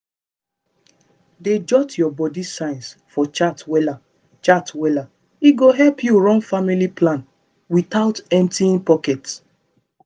dey jot your body signs for chart wella chart wella e go help you run family plan without emptying pocket